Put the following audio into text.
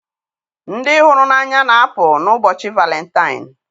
Ndị hụrụ n'anya na-apụ n'ụbọchị Valentine.